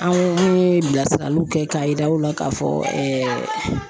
An ko min ye bilasiraliw kɛ k'a yir'aw la k'a fɔ